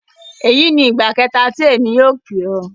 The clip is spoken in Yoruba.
Eyi ni igba kẹta ti emi yóò pe ọ.